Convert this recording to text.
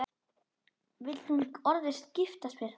Vill hún orðið giftast þér?